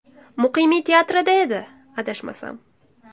Muqimiy teatrida edi, adashmasam.